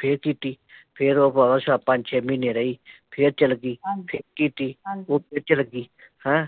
ਫੇਰ ਕੀਤੀ ਫੇਰ ਉਹ ਪਰਾਵਾਂ ਪੰਜ ਛੇ ਮਹੀਨੇ ਰਹੀ ਫੇਰ ਚੱਲਗੀ ਹਮ ਫੇਰ ਕੀਤੀ ਉਹ ਫੇਰ ਚੱਲਗੀ ਹੈਂ